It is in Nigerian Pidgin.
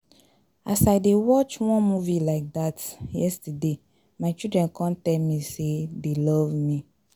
As I dey watch wan movie like dat yesterday my children come tell me say dey love me